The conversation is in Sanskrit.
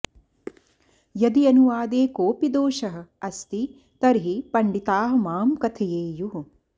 यदि अनुवादे कोऽपि दोषः अस्ति तर्हि पण्डिताः मां कथयेयुः